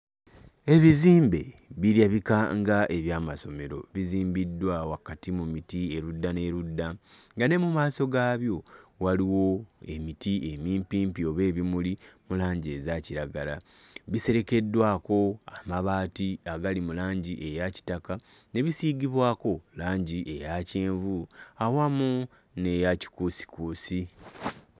Ebizimbe birabika nga eby'amasomero bizimbiddwa wakati mu miti erudda n'erudda nga ne mu maaso gaabyo waliwo emiti emimpimpi oba ebimuli mu langi eza kiragala biserekeddwako amabaati agali mu langi eya kitaka ne bisiigibwako langi eya kyenvu awamu n'eya kikuusikuusi.